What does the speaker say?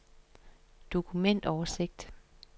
dokumentoversigt